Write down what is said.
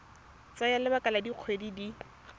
tsaya lebaka la dikgwedi di